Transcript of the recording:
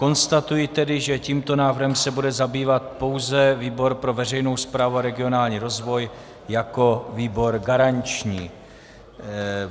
Konstatuji tedy, že tímto návrhem se bude zabývat pouze výbor pro veřejnou správu a regionální rozvoj jako výbor garanční.